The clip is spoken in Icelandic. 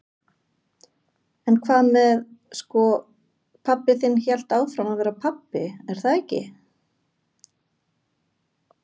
En hvað með sko, pabbi þinn hélt áfram að vera pabbi er það ekki?